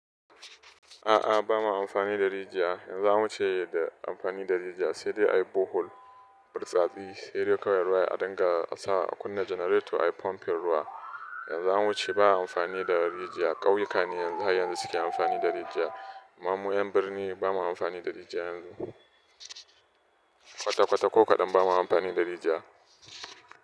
A'a, ba ma amfani da rijiya. In zamu ce da amfani da rijiya, sai dai a yi borehole, bartsatsi, sai dai kawai ruwa ya dinga sa a kunna generator ayi pumping ruwa. Yanzu an wuce ba'a amfani da rijiya, ƙauyuka ne har yanzu suke amfani da rijiya. Amma mu yan birni ba ma amfani da rijiya yanzu. Kwata kwata ko kaɗan ba ma amfani da rijiya.